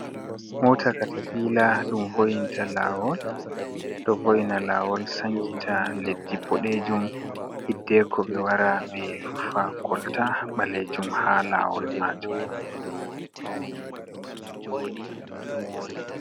Mota katapila ɗum ɗo vo'ina ta lawol, ɗo vo’ina lawol sankita leddi boɗejum hiddeko ɓe wara ɓe rufa kolta ɓalejum ha lawol majum.